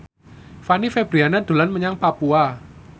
Fanny Fabriana dolan menyang Papua